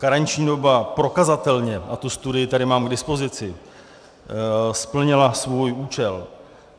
Karenční doba prokazatelně, a tu studii tady mám k dispozici, splnila svůj účel.